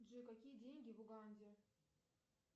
джой какие деньги в уганде